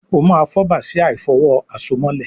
o ma fo Bàsíà ìfọ̀wo àsomọ́lẹ̀